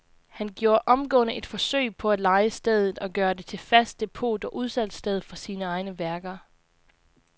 Han gjorde omgående et forsøg på at leje stedet og gøre det til fast depot og udsalgssted for sine egne værker.